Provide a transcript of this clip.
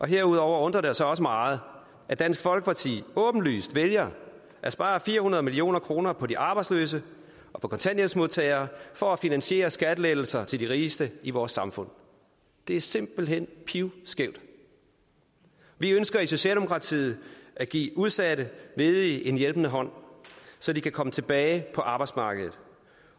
herudover undrer det os også meget at dansk folkeparti åbenlyst vælger at spare fire hundrede million kroner på de arbejdsløse og på kontanthjælpsmodtagere for at finansiere skattelettelser til de rigeste i vores samfund det er simpelt hen pivskævt vi ønsker i socialdemokratiet at give udsatte ledige en hjælpende hånd så de kan komme tilbage på arbejdsmarkedet